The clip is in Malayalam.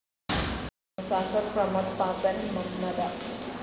മുസാഫിർ പ്രമോദ് പാപ്പൻ മംമത